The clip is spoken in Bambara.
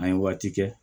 An ye waati kɛ